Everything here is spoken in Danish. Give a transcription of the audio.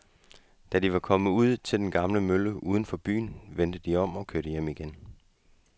Da de var kommet ud til den gamle mølle uden for byen, vendte de om og kørte hjem igen.